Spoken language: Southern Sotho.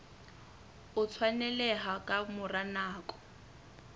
o tshwaneleha ka mora nako